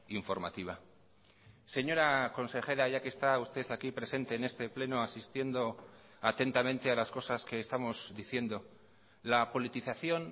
informativa señora consejera ya que está usted aquí presente en este pleno asistiendo atentamente a las cosas que estamos diciendo la politización